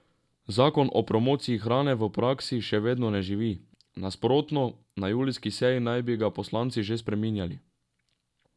Zakon o promociji hrane v praksi še vedno ne živi, nasprotno, na julijski seji naj bi ga poslanci že spreminjali.